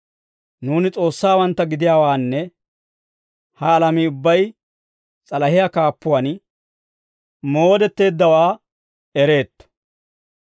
Nuuni S'oossawantta gidiyaawaanne ha alamii ubbay s'alahiyaa kaappuwaan moodetteeddawe ereetto.